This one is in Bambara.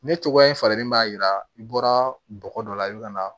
Ne cogoya in falenlen b'a yira i bɔra bɔgɔ dɔ la i bɛ ka na